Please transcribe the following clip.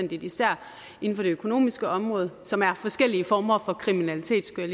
især inden for det økonomiske område som er forskellige former for kriminalitet skulle